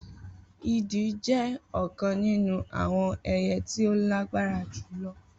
Idì jẹ́ ọ̀kan nínú àwọn ẹyẹ tí ó lágbára jù lọ